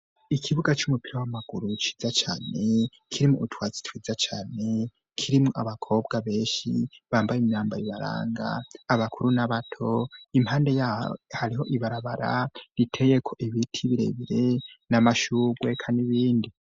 ikibuga c'umupira w'amaguru ciza cane, kirimwo utwatsi twiza cane, kirimwo abakobwa benshi, bambaye imyambaro ibaranga, abakuru n'abato, impande yaho hariho ibarabara, riteyeko ibiti birebire, n'amashurwe eka n'ibindi.